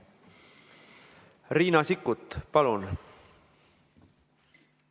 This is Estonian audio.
Riina Sikkut, palun!